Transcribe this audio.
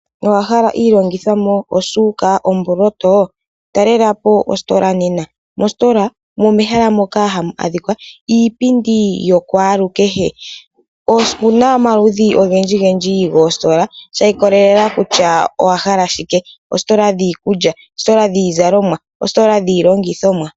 Owahala iilongithomwa osuuka, ombooloto? Talelapo oositola nena. Ositola oyo mehala moka hamu adhika iipindi yokwaalukehe. Otuna omaludhi ogendji goositola shi ikolelela kutya owahala oshinima shike, oositola dhini dhiikulya, oositola dhiizalomwa, oositola dhiilongithomwa.